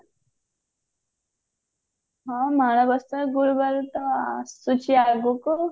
ହଁ ମାଣବସା ଗୁରୁବାର ତ ଆସୁଛି ଆଗକୁ